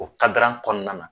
O kɔnɔna na